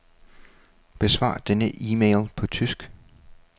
Besvar denne e-mail på tysk.